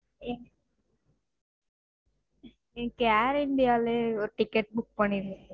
எ எனக்கு air India லே ஒரு ticket book பண்ணிடுங்க